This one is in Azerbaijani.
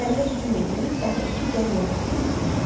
Kəndə hücum eləyib daha iki cam yağ gətirdilər.